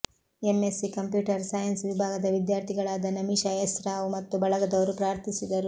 MSc computer science ವಿಭಾಗದ ವಿದ್ಯಾರ್ಥಿಗಳಾದ Namisha S Rao ಮತ್ತು ಬಳಗದವರು ಪ್ರಾರ್ಥಿಸಿದರು